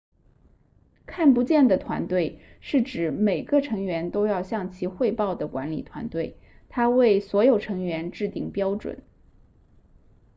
看不见的团队是指每个成员都要向其汇报的管理团队它为所有成员制定标准